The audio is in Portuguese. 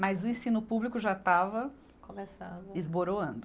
Mas o ensino público já estava. Começando. Esboroando.